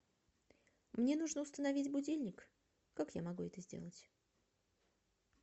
мне нужно установить будильник как я могу это сделать